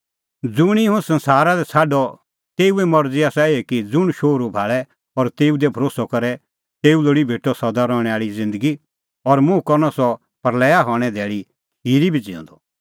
ज़ुंणी हुंह संसारा लै छ़ाडअ तेऊए मरज़ी आसा एही कि ज़ुंण शोहरू भाल़े और तेऊ दी भरोस्सअ करे तेऊ लोल़ी भेटअ सदा रहणैं आल़ी ज़िन्दगी और मुंह करनअ सह प्रल़या हणें धैल़ी खिरी भी ज़िऊंदअ